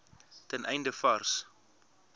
ten einde vars